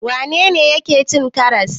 Wane ne yake cin karas?